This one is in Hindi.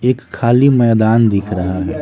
एक खाली मैदान दिख रहा है।